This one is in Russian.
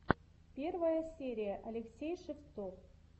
первая серия алексей шевцов